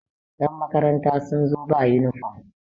yanmakaranta sun zo ba yunifom